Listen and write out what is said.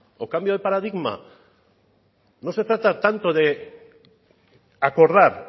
o cambio de paradigma no se trata tanto de acordar